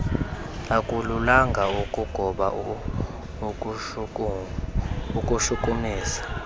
akululanga ukugoba ukushukumisa